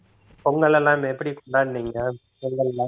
பொங்கல் எல்லாம் எப்படி கொண்டாடுனீங்க பொங்கல்ல